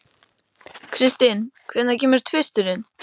Kristin, hvenær kemur tvisturinn?